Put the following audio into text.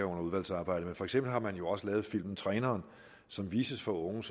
under udvalgsarbejdet for eksempel har man jo også lavet filmen træneren som vises for unge